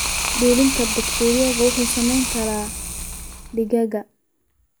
Dulinka bakteeriyada waxay saameyn kartaa digaagga.